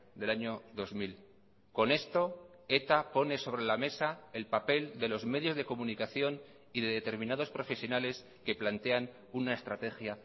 del año dos mil con esto eta pone sobre la mesa el papel de los medios de comunicación y de determinados profesionales que plantean una estrategia